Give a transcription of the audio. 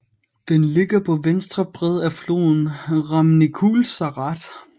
Den ligger på venstre bred af floden Râmnicul Sărat